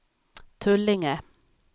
Tullinge